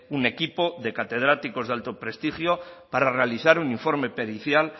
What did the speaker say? un equipo de catedráticos de alto prestigio para realizar un informe pericial